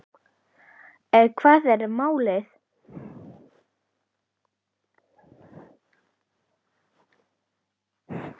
Hvað er þá málið?